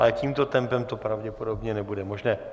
Ale tímto tempem to pravděpodobně nebude možné.